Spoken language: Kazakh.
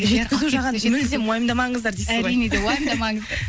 жеткізу жағын мүлдем уайымдамаңыздар дейсіз ғой әрине де уайымдамаңыздар